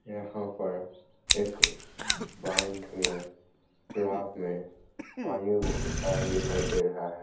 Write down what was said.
यहाँ पर एक तालाब में पानी बहुत सारा दिखाई दे रहा हैं।